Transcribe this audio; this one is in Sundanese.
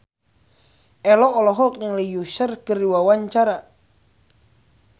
Ello olohok ningali Usher keur diwawancara